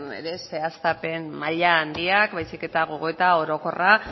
ere zehaztapen maila handiak baizik eta gogoeta orokorra